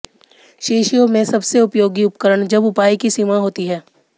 शीशियों में सबसे उपयोगी उपकरण जब उपाय की सीमा होती है